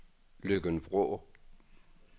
Løkken-Vrå